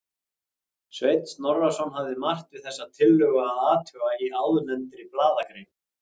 Sveinn Snorrason hafði margt við þessa tillögu að athuga í áðurnefndri blaðagrein.